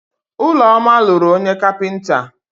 Ụlọma lụrụ onye kapịnta.